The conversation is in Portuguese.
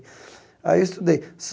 Aí eu estudei.